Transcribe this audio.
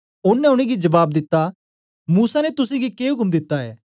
ओनें उनेंगी जबाब दिता मूसा ने तुसेंगी के उक्म दिता ऐ